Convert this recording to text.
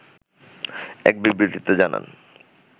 এক বিবৃতিতে জানান